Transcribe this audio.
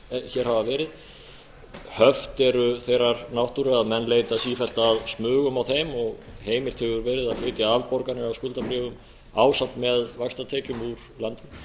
hér hafa verið höft eru þeirrar náttúru að menn leita sífellt að smugum á þeim og heimilt hefur verið að flytja afborganir af skuldabréfum ásamt með vaxtatekjum úr landi